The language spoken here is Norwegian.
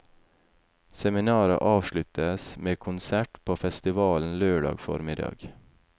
Seminaret avsluttes med konsert på festivalen lørdag formiddag.